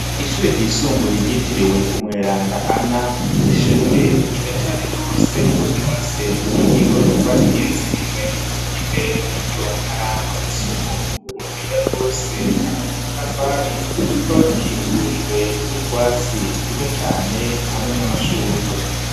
Ishure ryisumbuye ryitiriwe umweranda Ana ishure ryiza cane rwose ryubatse mu buryo bw'igorofa igeretse rimwe imbere muri ryo harangwa isuku utuyira twose hari udutafari tukaba dukikujwe n'utwatsi twiza cane hamwe n'amashurwe.